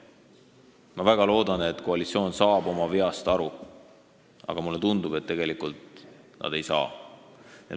Ma väga loodan, et koalitsioon saab oma veast aru, aga mulle tundub, et tegelikult nad ei saa.